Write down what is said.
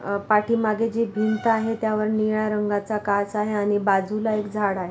अ पाठीमाघे जे भीत आहे त्यावर निळ्या रंग चा काच आहे आणि बाजूला एक झाड आहे.